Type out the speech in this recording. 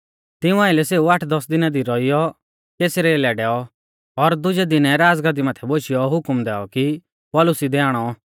तिऊं आइलै सेऊ आठदस दिना दी रौइयौ कैसरिया लै डैऔ और दुजै दिनै राज़गादी माथै बोशियौ हुकम दैऔ कि पौलुस इदै आणौ